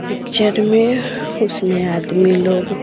picture में उसमें आदमी लोग--